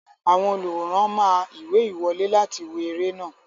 Àwọn olùwòran máa ìwé ìwọlé láti wo eré náà.